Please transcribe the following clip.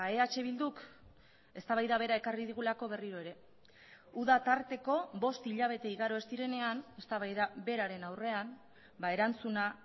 eh bilduk eztabaida bera ekarri digulako berriro ere uda tarteko bost hilabete igaro ez direnean eztabaida beraren aurrean erantzuna